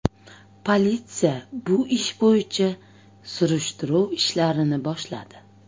Politsiya bu ish bo‘yicha surishtiruv ishlarini boshladi.